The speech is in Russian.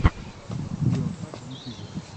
скрю аттак в ютьюбе